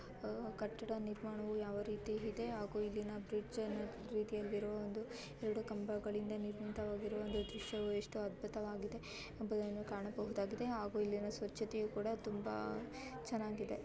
ಆ ಕಟ್ಟಡ ನಿರ್ಮಾಣವು ಯಾವ ರೀತಿಯಲ್ಲಿದೆ ಹಾಗೂ ಇಲ್ಲಿನ ಬ್ರಿಡ್ಜ್ನ ರೀತಿಯಲ್ಲಿರುವ ಒಂದು ಎರಡು ಕಂಬಗಳಿಂದ ನಿರ್ಮಿತವಾಗಿರುವ ಒಂದು ದೃಶ್ಯವು ಎಷ್ಟು ಅದ್ಭುತವಾಗಿದೆ ಎಂಬುದನ್ನು ಕಾಣಬಹುದಾಗಿದೆ. ಹಾಗೂ ಇಲ್ಲಿನ ಸ್ವಚ್ಛತೆಯೂ ಕೂಡ ತುಂಬಾ ಚೆನ್ನಾಗಿದೆ.